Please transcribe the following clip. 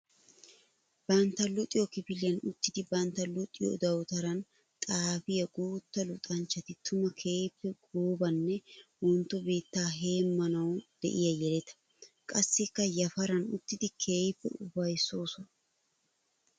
Bantta luxiyo kifiliyan uttiddi bantta luxiyo dawutaran xaafiya guuta luxxanchchati tuma keehippe goobanne wontto biittaa heemanawu de'iya yeletta. Qassikka yafaran uttiddi keehippe uafayssoosonna.